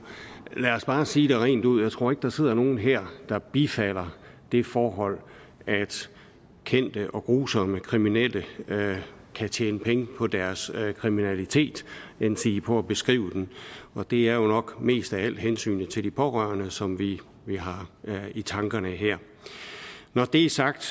lad os bare sige det rent ud jeg tror ikke der sidder nogle her der bifalder det forhold at kendte og grusomme kriminelle kan tjene penge på deres kriminalitet endsige på at beskrive den og det er jo nok mest af alt hensynet til de pårørende som vi vi har i tankerne her når det er sagt